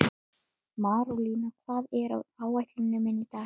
Marólína, hvað er á áætluninni minni í dag?